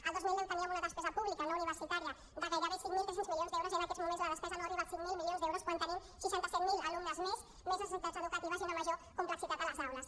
el dos mil deu teníem una despesa pública no universitària de gairebé cinc mil tres cents milions d’euros i en aquests moments la despesa no arriba als cinc mil milions d’euros quan tenim seixanta set mil alumnes més més necessitats educatives i una major complexitat a les aules